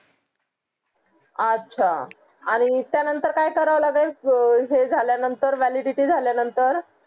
अच्छा आणि त्या नतंर काय करावा लागेल अं हे झल्या नंतर validity झल्या नतंर